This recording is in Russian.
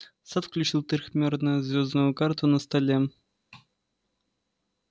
сатт включил трёхмерную звёздную карту на столе